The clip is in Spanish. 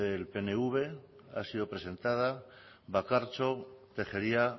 pnv ha sido presentada bakartxo tejeria